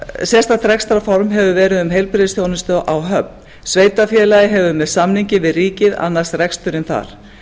sérstakt rekstrarform hefur verið um heilbrigðisþjónustu á höfn sveitarfélagið hefur með samningi við ríkið annast reksturinn þar